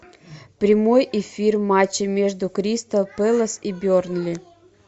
прямой эфир матча между кристал пэлас и бернли